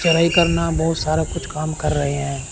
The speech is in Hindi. चढ़ाई करना बहुत सारा कुछ काम कर रहे हैं।